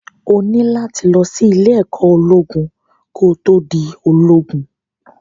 O ní láti lọ sí ìlé-ẹ̀kọ́ ológun ko tó di ológun.